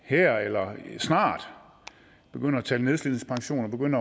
her snart begyndte at tale nedslidningspension